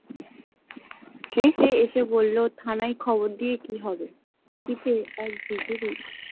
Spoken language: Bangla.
সে যে এসে বলল থানায় খবর দিয়ে কি হবে ।